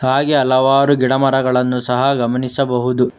ಹಾಗೆ ಹಲವಾರು ಗಿಡ ಮರಗಳನ್ನು ಸಹ ಗಮನಿಸಬಹುದು.